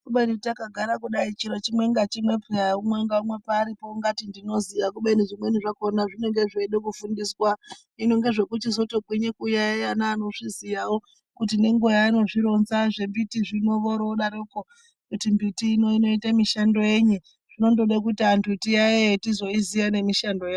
Kubeni takagara kudai chiro chimwe nachimwe peya umwe ngaumwe paaripo ungati tinoziya kubeni zvimweni zvakona zvinenge zveida kufundiswa hino ngezvekuchizoto gwinye kuyaiya neanozviziyawo kuti nenguwa yaanozvironza zvembiti zvino vorodaroko kuti mbiti ino inoite mishando yenyi zvinondode kuti antu tiyaiye tizoiziya nemishando yayo.